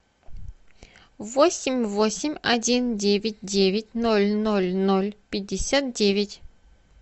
восемь восемь один девять девять ноль ноль ноль пятьдесят девять